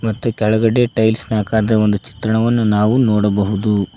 ಮತ್ತೆ ಕೆಳಗಡೆ ಟೈಲ್ಸ್ನ ಆಕಾರದ ಚಿತ್ರಣವನ್ನು ನಾವು ನೋಡಬಹುದು.